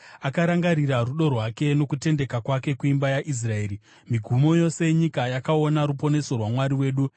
Akarangarira rudo rwake nokutendeka kwake kuimba yaIsraeri; migumo yose yenyika yakaona ruponeso rwaMwari wedu.